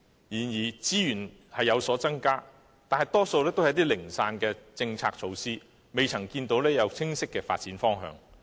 然而，資源確是有所增加，但大多是零散的政策措施，未見清晰的發展方向。